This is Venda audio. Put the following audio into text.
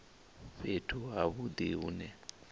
fhethu ha vhudi hu ne